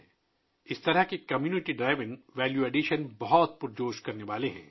اس قسم کی کمیونٹی سے چلنے والی ویلیو ایڈیشن بہت پرجوش ہے